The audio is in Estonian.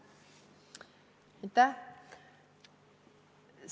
Aitäh!